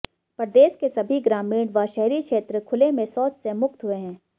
प्रदेश के सभी ग्रामीण व शहरी क्षेत्र खुले में शौच से मुक्त हुए हैं